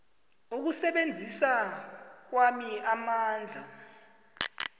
ukusebenzisa kwami amandla